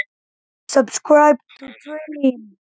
Hún þarf mjög mikla hjálp við að passa krakkana.